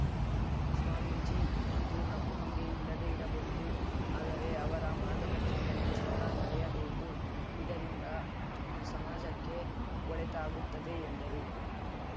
ಸ್ವಾಮೀಜಿ ಇಂದು ನಮ್ಮೊಂದಿಗೆ ಇಲ್ಲದೇ ಇರಬಹುದು ಆದರೆ ಅವರ ಮಾರ್ಗದರ್ಶನದಲ್ಲಿ ಸದಾ ನಡೆಯಬೇಕು ಇದರಿಂದ ಸಮಾಜಕ್ಕೆ ಒಳಿತಾಗುತ್ತದೆ ಎಂದರು